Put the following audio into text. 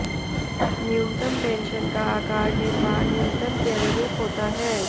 न्यूनतम पेंशन का आकार निर्वाह न्यूनतम के अनुरूप होता है